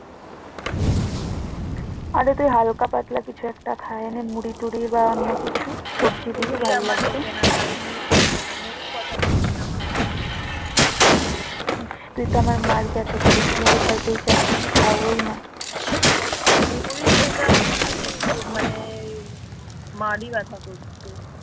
মুড়ি খেলে আমার মনে হয় কি মানে মারি ব্যথা করছে